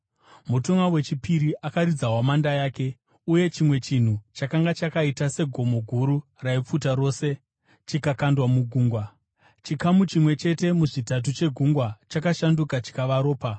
Mutumwa wechipiri akaridza hwamanda yake uye chimwe chinhu chakanga chakaita segomo guru, raipfuta rose, chikakandwa mugungwa. Chikamu chimwe chete muzvitatu chegungwa chakashanduka chikava ropa,